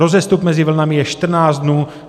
Rozestup mezi vlnami je 14 dnů.